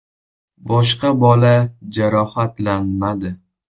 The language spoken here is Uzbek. Boshqa bola jarohatlanmadi.